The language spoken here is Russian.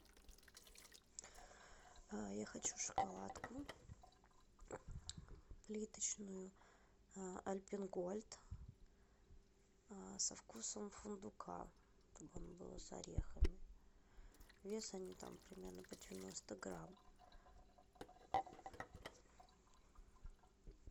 я хочу шоколадку плиточную альпен гольд со вкусом фундука чтоб он был с орехами вес они там примерно по девяносто грамм